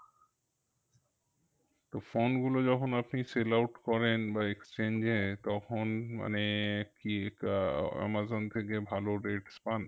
তো phone গুলো যখন আপনি sell out করেন বা exchange এ তখন মানে কি কা আহ আমাজন থেকে ভালো rates পান?